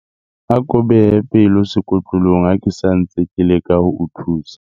Ako behe pelo sekotlolong ha ke sa ntse ke leka ho o thusa.